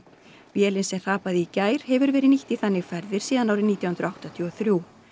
vélin sem hrapaði í gær hefur verið nýtt í þannig ferðir síðan árið nítján hundruð áttatíu og þrjú